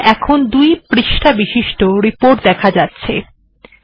দেখুন এখন দুটি পৃষ্ঠা বিশিষ্ট রিপোর্ট দেখা যাচ্ছে